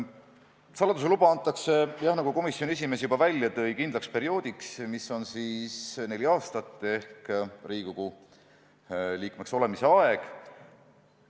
Saladuse luba antakse, jah, nagu komisjoni esimees juba ütles, kindlaks perioodiks, st neljaks aastaks ehk Riigikogu liikmeks olemise ajaks.